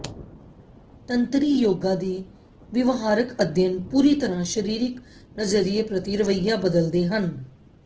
ਤੰਤਰੀ ਯੋਗਾ ਦੇ ਵਿਵਹਾਰਕ ਅਧਿਐਨ ਪੂਰੀ ਤਰ੍ਹਾਂ ਸਰੀਰਕ ਨਜ਼ਰੀਏ ਪ੍ਰਤੀ ਰਵੱਈਆ ਬਦਲਦੇ ਹਨ